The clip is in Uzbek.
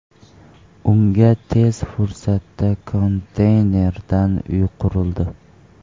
Unga tez fursatda konteynerdan uy qurildi .